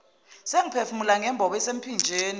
sengiphefumula ngembobo esemphinjeni